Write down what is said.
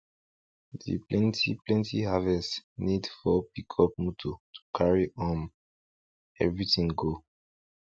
di plenty plenty harvest need four pickup motor to carry um everything go